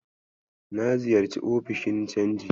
Na ziyarci ofishin canji.